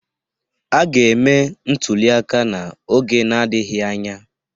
A ga-eme ntụliaka n'oge n'adịghị anya.